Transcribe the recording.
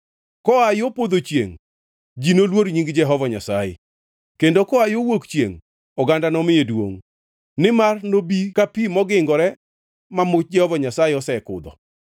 Koa yo podho chiengʼ, ji noluor nying Jehova Nyasaye, kendo koa yo wuok chiengʼ, oganda nomiye duongʼ. Nimar nobi ka pi mongingore ma much Jehova Nyasaye osekudho.